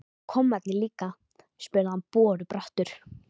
Og kommarnir líka? spurði hann borubrattur.